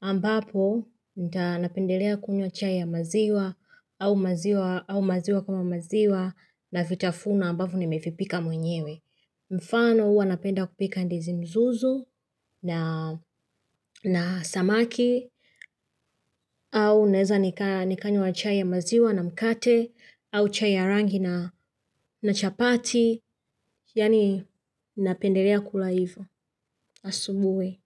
ambapo nita napendelea kunywa chai ya maziwa, au maziwa kama maziwa, na vitafuno ambavyo nimevipika mwenyewe. Mfano huwa napenda kupika ndizi mzuzu na samaki, au naeza nikanywa chai ya maziwa na mkate, au chai ya rangi na chapati, yani napendelea kula hivo, asubuhi.